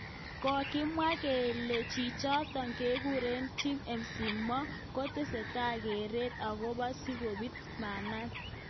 Kakimwa kele chichotok kekure Tim McCormack kotesetai keret akobo sikobit meanatak.